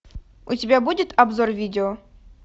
у тебя будет обзор видео